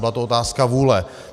Byla to otázka vůle.